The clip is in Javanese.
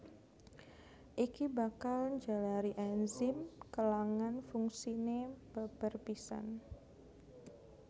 Iki bakal njalari enzim kèlangan fungsiné babar pisan